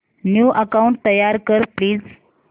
new account तयार कर please